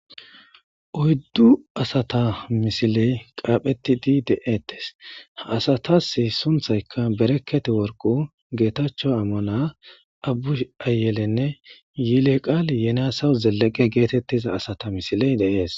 Oyddu asata misiley qaaphettidi de'ettes. Ha asatas sunththaykka Bereket worqu, Getacho Amana, Abushi Ayele nne yileqali yenasew Zelleqe geetettiza asata misiley de'es.